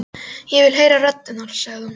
Ég vil heyra rödd hennar, sagði hún.